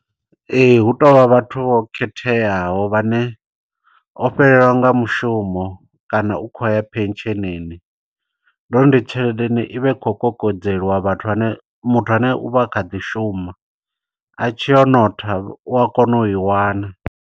Ee, hu tovha vhathu vho khetheaho, vhane o fhelelwa nga mushumo kana u khou haya phetshenini. Ndi uri ndi tshelede ine ivha i khou kokodzeliwa vhathu vhane, muthu ane u vha kha ḓi shuma. A tshi o notha u a kona u i wana.